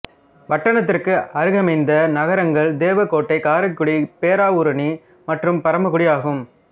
வட்டானத்திற்கு அருகமைந்த நகரங்கள் தேவக்கோட்டை காரைக்குடி பேராவூரணி மற்றும் பரமக்குடி ஆகும்